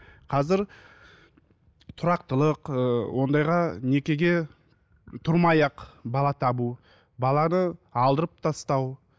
қазір тұрақтылық ыыы ондайға некеге тұрмай ақ бала табу баланы алдырып тастау